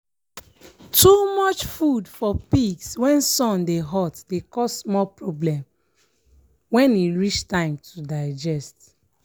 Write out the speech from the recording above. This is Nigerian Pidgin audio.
too much food for pigs when sun dey hot dey cause more problems when e reach time to digest.